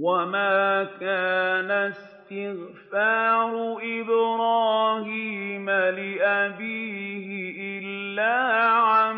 وَمَا كَانَ اسْتِغْفَارُ إِبْرَاهِيمَ لِأَبِيهِ إِلَّا عَن